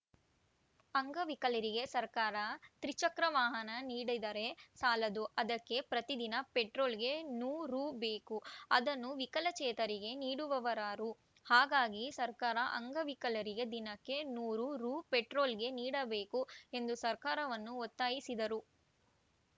ಅಂಗವಿಕಲರಿಗೆ ಸರ್ಕಾರ ತ್ರಿಚಕ್ರ ವಾಹನ ನೀಡಿದರೆ ಸಾಲದು ಅದಕ್ಕೆ ಪ್ರತಿದಿನ ಪೆಟ್ರೋಲ್‌ಗೆ ನೂ ರುಬೇಕು ಅದನ್ನು ವಿಕಲಚೇತನರಿಗೆ ನೀಡುವವರಾರು ಹಾಗಾಗಿ ಸರ್ಕಾರ ಅಂಗವಿಕಲರಿಗೆ ದಿನಕ್ಕೆ ನೂರು ರು ಪೆಟ್ರೋಲ್‌ಗೆ ನೀಡಬೇಕು ಎಂದು ಸರ್ಕಾರವನ್ನು ಒತ್ತಾಯಿಸಿದರು